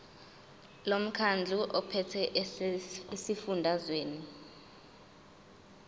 lomkhandlu ophethe esifundazweni